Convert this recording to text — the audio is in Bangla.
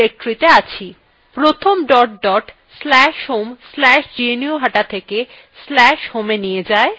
প্রথম আমাদের dot dot slash home slash gnuhata থেকে slash homeএ নিয়ে যায়